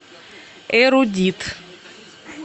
эрудит